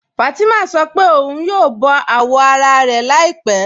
Fátimà sọ́ pẹ̀ ọ̀un yóò bọ awọ́ ara rẹ̀ làípẹ̀